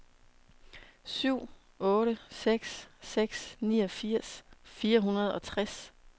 syv otte seks seks niogfirs fire hundrede og tres